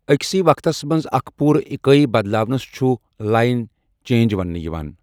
أکسی وقتس منٛز اکھ پوٗرٕ اِکٲی بَدلاونَس چھُ لائن چینج وننہٕ یِوان۔